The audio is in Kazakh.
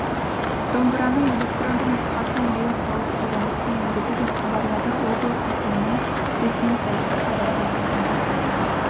домбыраның электронды нұсқасын ойлап тауып қолданысқа енгізді деп хабарлады облыс әкімінің ресми сайты хабарда айтылғандай